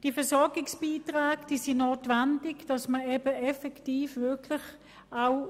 Die Versorgungsbeiträge sind notwendig, damit man die Leute effektiv versorgen kann.